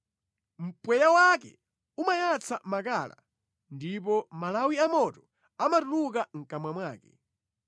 Mpweya wake umayatsa makala, ndipo malawi amoto amatuluka mʼkamwa mwake.